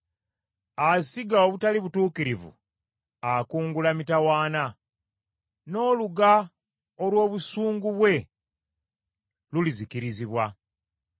Asiga obutali butuukirivu akungula mitawaana, n’oluga olw’obusungu bwe lulizikirizibwa.